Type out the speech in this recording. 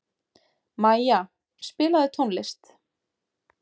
Maja, spilaðu tónlist.